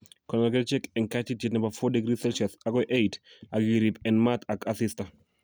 Konor kerichek eng kaititiet nebo 4�c agoi 8�c ak iriip en maat ak asista